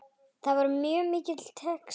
Það var mjög mikill texti.